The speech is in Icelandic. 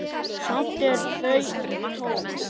Samt eru þau tóm.